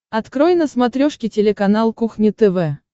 открой на смотрешке телеканал кухня тв